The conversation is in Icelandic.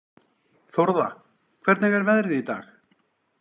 Þórða, hvernig er veðrið í dag?